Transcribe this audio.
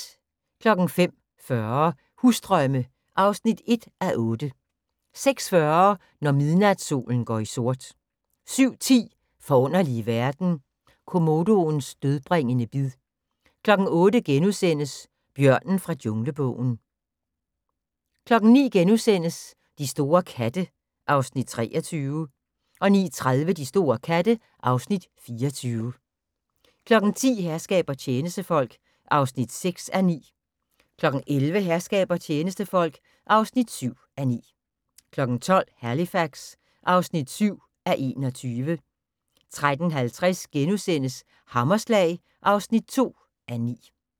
05:40: Husdrømme (1:8) 06:40: Når midnatssolen går i sort 07:10: Forunderlige verden – komodoens dødbringende bid 08:00: Bjørnen fra Junglebogen * 09:00: De store katte (Afs. 23)* 09:30: De store katte (Afs. 24) 10:00: Herskab og tjenestefolk (6:9) 11:00: Herskab og tjenestefolk (7:9) 12:00: Halifax (7:21) 13:50: Hammerslag (2:9)*